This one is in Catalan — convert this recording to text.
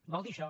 vol dir això